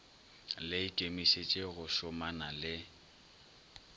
le ikemišetše go šomana le